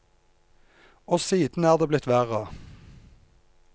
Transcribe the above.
Og siden er det blitt verre.